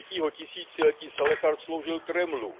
3. tisíciletí Salechard sloužil Kremlu.